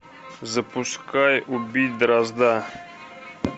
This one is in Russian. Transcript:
запускай убить дрозда